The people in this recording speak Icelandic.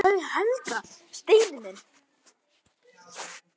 Hvar er Helga, Steini minn?